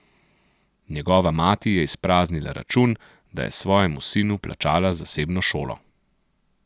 Njegova mati je izpraznila račun, da je svojemu sinu plačala zasebno šolo.